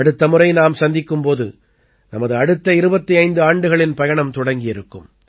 அடுத்த முறை நாம் சந்திக்கும் போது நமது அடுத்த 25 ஆண்டுகளின் பயணம் தொடங்கியிருக்கும்